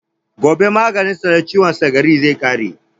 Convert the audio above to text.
Gobe maganin sa na ciwon sikari zai ƙare